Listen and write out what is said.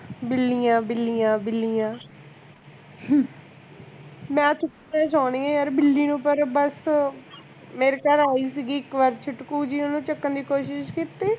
ਬਿੱਲੀਆਂ ਬਿੱਲੀਆਂ ਬਿੱਲੀਆਂ ਮੈਂ ਚੁੱਪੇ ਸੋਂਦੀ ਆਂ ਯਾਰ ਬਿੱਲੀ ਨੂੰ ਪਰੀ ਬਸ ਮੇਰੀ ਤਾਂ ਹੋਈ ਸੀ ਇੱਕ ਵਾਰ ਛੁਟਕੁ ਜਿਹੀ ਓਹਨੂੰ ਚੁੱਕਣ ਦੀ ਕੋਸ਼ਿਸ਼ ਕਿੱਤੀ